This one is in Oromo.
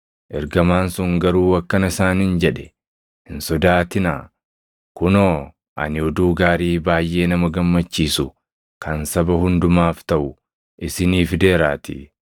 Ergamaan sun garuu akkana isaaniin jedhe; “Hin sodaatinaa. Kunoo, ani oduu gaarii baayʼee nama gammachiisu kan saba hundumaaf taʼu isinii fideeraatii.